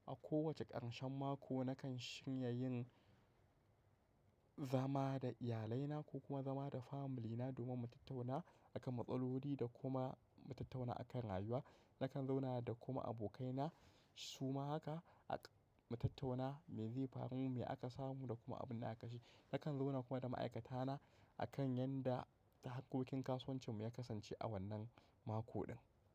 A ko wace ƙarshen mako nakan shirya yin zama da iyalai na ko kuma zama da family na domin mu tattauna akan matsaloli da kuma mu tattauna akan rayuwa. Nakan zauna da kuma abokai na suma haka mu tattauna me zai faru, me aka samu da kuma abin da aka sha. Nakan zauna kuma da ma'aikata na akan yanda harkokin kasuwancin mu ya kasance a wannan mako din.